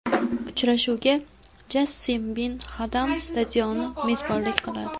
Uchrashuvga Jassim Bin Hadam stadioni mezbonlik qiladi.